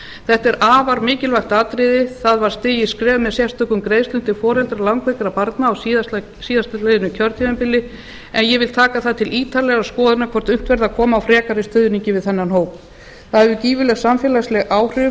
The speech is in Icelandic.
þetta er afar mikilvægt atriði það var stigið skref með sérstökum greiðslum til foreldra langveikra barna á síðastliðnum kjörtímabili en ég vil taka það til ítarlegrar skoðunar hvort unnt verði að koma á frekari stuðningi við þennan hóp það hefur gífurleg samfélagsleg áhrif